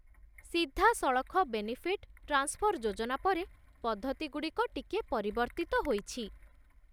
ସିଧାସଳଖ benefit transfer ଯୋଜନା ପରେ, ପଦ୍ଧତିଗୁଡ଼ିକ ଟିକିଏ ପରିବର୍ତ୍ତିତ ହୋଇଛି।